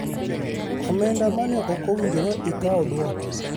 Omenda mane ok owinjore ikaw dwoki,